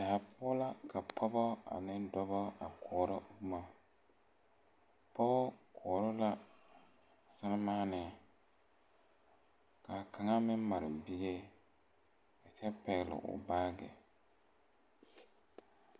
Kòɔ poɔ la ka pɔɔbɔ ane dɔbɔ a koɔrɔ bomma pɔgɔ koɔrɔ la sɛmaanee ka kaŋa meŋ mare bie kyɛ pɛgle o baagyi.